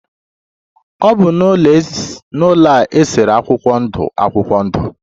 Ọ bi n'ụlọ a esere akwụkwọ ndụ akwụkwọ ndụ.